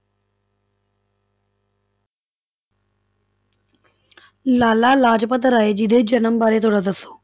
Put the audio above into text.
ਲਾਲਾ ਲਾਜਪਤ ਰਾਏ ਜੀ ਦੇ ਜਨਮ ਬਾਰੇ ਥੋੜ੍ਹਾ ਦੱਸੋ।